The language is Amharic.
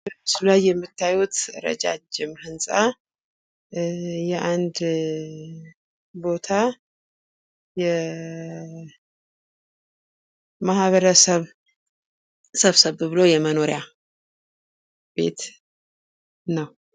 በምስሉ ላይ የምታዩት ህንጻ የአንድ ቦታ የማህበረሰብ ሰብሰብ ብሎ የመኖሪያ ቤት ነው።